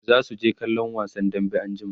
zasu je kallon wasan dambe anjima